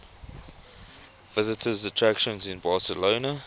visitor attractions in barcelona